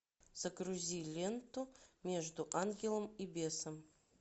загрузи ленту между ангелом и бесом